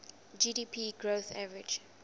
gdp growth averaged